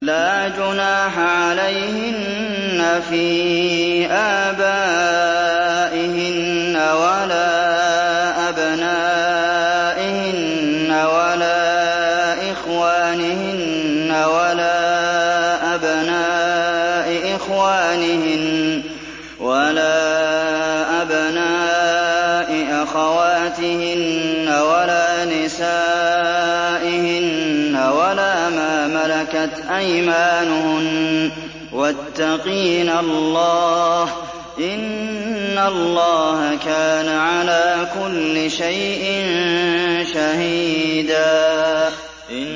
لَّا جُنَاحَ عَلَيْهِنَّ فِي آبَائِهِنَّ وَلَا أَبْنَائِهِنَّ وَلَا إِخْوَانِهِنَّ وَلَا أَبْنَاءِ إِخْوَانِهِنَّ وَلَا أَبْنَاءِ أَخَوَاتِهِنَّ وَلَا نِسَائِهِنَّ وَلَا مَا مَلَكَتْ أَيْمَانُهُنَّ ۗ وَاتَّقِينَ اللَّهَ ۚ إِنَّ اللَّهَ كَانَ عَلَىٰ كُلِّ شَيْءٍ شَهِيدًا